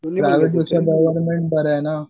Private पेक्षा government बरं आहे ना.